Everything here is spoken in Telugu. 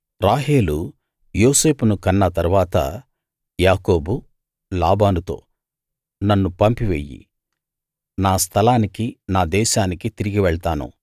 రాహేలు యోసేపును కన్న తరువాత యాకోబు లాబానుతో నన్ను పంపివెయ్యి నా స్థలానికి నా దేశానికి తిరిగి వెళ్తాను